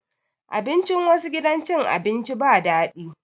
Abincin wassu gidan cin abinci ba daɗi